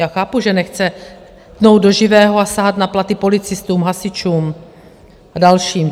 Já chápu, že nechce tnout do živého a sahat na platy policistům, hasičům a dalším.